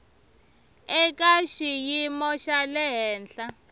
eka xiyimo xa le henhla